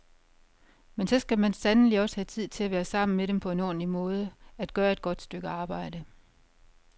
Men så skal man sandelig også have tid til at være sammen med dem på en ordentlig måde, at gøre et godt stykke arbejde.